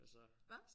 Hvad?